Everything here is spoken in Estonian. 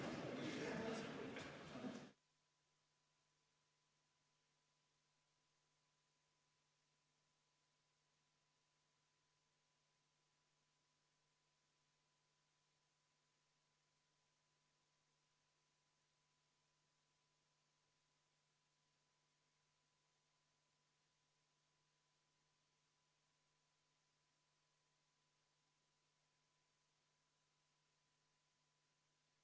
V a h e a e g